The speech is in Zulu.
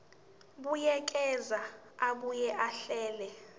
buyekeza abuye ahlele